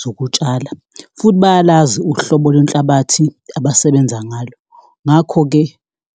zokutshala futhi bayalazi uhlobo lwenhlabathi abasebenza ngalo. Ngakho-ke